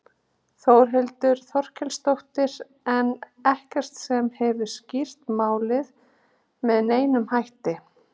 Þórhildur Þorkelsdóttir: En ekkert sem hefur skýrt málið með neinum hætti?